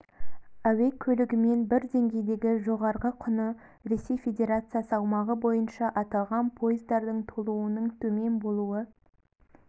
әуе көлігімен бір деңгейдегі жоғарғы құны ресей федерациясы аумағы бойынша аталған поездардың толуының төмен болуы